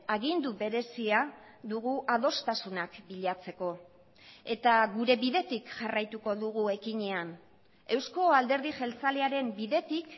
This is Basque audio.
agindu berezia dugu adostasunak bilatzeko eta gure bidetik jarraituko dugu ekinean eusko alderdi jeltzalearen bidetik